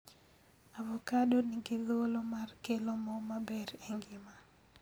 avocado nigi thuolo mar kelo moo maber e ngima